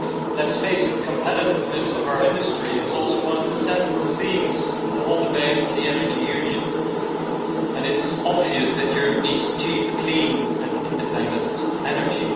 Let's face it the competitiveness of our industry is also one of the central themes in the whole debate on the Energy Union, and it is obvious that Europe needs cheap, clean and independent energy.